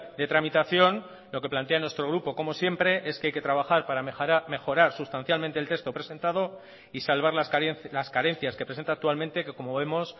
de tramitación lo que plantea nuestro grupo como siempre es que hay que trabajar para mejorar sustancialmente el texto presentado y salvar las carencias que presenta actualmente que como vemos